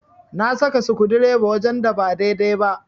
Na saka sukudireba wajen da ba daidai ba.